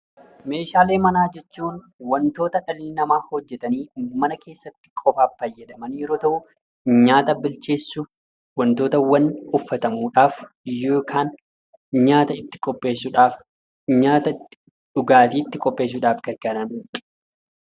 Meeshaalee manaa jechuun wantoota dhalli namaa hojjetanii mana keessatti qofaaf fayyadaman yeroo ta'u, nyaata bilcheessuuf, wantootawwan uffatamuudhaaf yookaan nyaata itti qopheessuudhaaf, dhugaatii itti qopheessuudhaaf itti gargaaramnudha.